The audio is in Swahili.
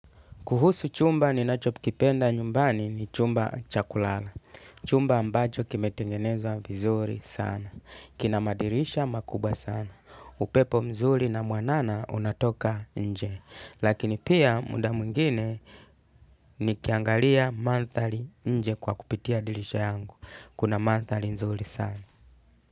Kuhusu chumba ninachopikipenda nyumbani ni chumba cha kulala. Chumba ambacho kimetengenezwa vizuri sana. Kina madirisha makubwa sana. Upepo mzuri na mwanana unatoka nje. Lakini pia muda mwingine nikiangalia manthari nje kwa kupitia dirisha yangu. Kuna mantali nzuri sana.